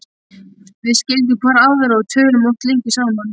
Við skildum hvor aðra og töluðum oft lengi saman.